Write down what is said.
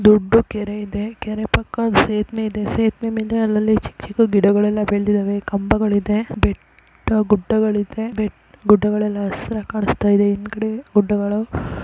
ದೊಡ್ಡ ಕೆರೆ ಇದೆ ಕೆರೆ ಪಕ್ಕ ದೊಡ್ಡ್ ಸೇತುವೆ ಇದೆ ಸೇತುವೆ ಮೇಲೆ ಚಿಕ್ಕ್ ಚಿಕ್ಕ್ ಗಿಡಗಲ್ಲೇ ಬೆಳ್ದಿದವೇ ಕಂಬಗಳು ಇವೆ ಬೆಟ್ಟ ಗುಡ್ಡಗಳು ಇವೆ ಗುಡ್ಡಗಳುಹಸಿರಾಗಿ ಕಾಣಸ್ತಾಇದೆ.ಹಿಂದೆಗದೆ ಗುಡ್ಡಗಳು --